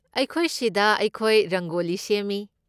ꯑꯩꯈꯣꯏꯁꯤꯗ ꯑꯩꯈꯣꯏ ꯔꯪꯒꯣꯂꯤ ꯁꯦꯝꯃꯤ꯫